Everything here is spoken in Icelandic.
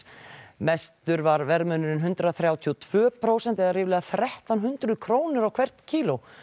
mesti var verðmunurinn hundrað þrjátíu og tvö prósent eða ríflega krónur á hvert kíló